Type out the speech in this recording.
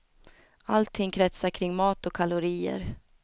Allting kretsar kring mat och kalorier.